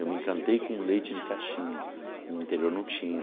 Eu me encantei com leite de caixinha, no interior não tinha.